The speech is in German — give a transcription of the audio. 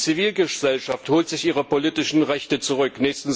Die Zivilgesellschaft holt sich ihre politischen Rechte zurück.